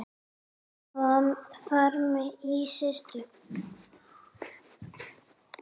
Frammi í situr